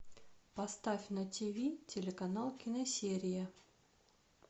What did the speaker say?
поставь на ти ви телеканал киносерия